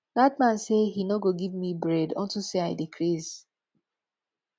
dat man say he no go give me bread unto say i dey craze